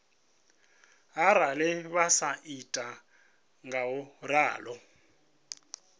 arali vha sa ita ngauralo